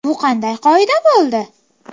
Bu qanday qoida bo‘ldi?!